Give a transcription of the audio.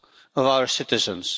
of our citizens.